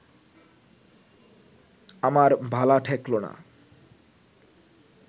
আমার ভালা ঠেকল না